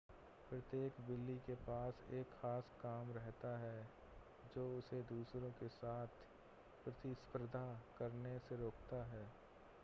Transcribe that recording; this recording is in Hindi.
प्रत्येक बिल्ली के पास एक ख़ास काम रहता है जो उसे दूसरों के साथ प्रतिस्पर्धा करने से रोकता है